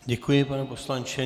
Děkuji, pane poslanče.